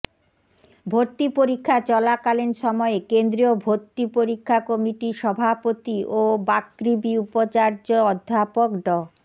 ভর্তি পরীক্ষা চলাকালীন সময়ে কেন্দ্রীয় ভর্তি পরীক্ষা কমিটির সভাপতি ও বাকৃবি উপাচার্য অধ্যাপক ড